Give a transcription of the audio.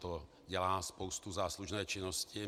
To dělá spoustu záslužné činnosti.